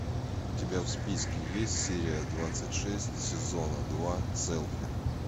у тебя в списке есть серия двадцать шесть сезона два селфи